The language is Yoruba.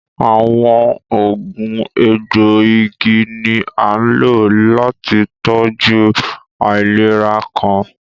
Awọn oogun ègboigì ni a nló láti tọjú awọn aìlèrà kan.